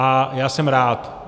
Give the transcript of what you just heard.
A já jsem rád.